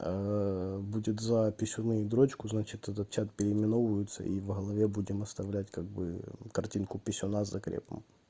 будет за писюном дрочку значит этот чат переименовывается и в голове будем оставлять как бы картинку писюна с закрепом